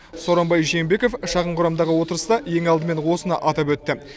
сооронбай жээнбеков шағын құрамдағы отырыста ең алдымен осыны атап өтті